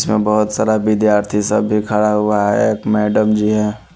बहोत सारा विद्यार्थी सब भी खड़ा हुआ है एक मैडम जी है।